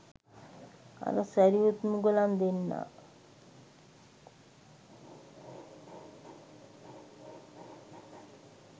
අර සැරියුත් මුගලන් දෙන්නා